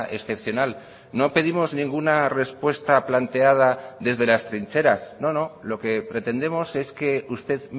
excepcional no pedimos ninguna respuesta planteada desde las trincheras no no lo que pretendemos es que usted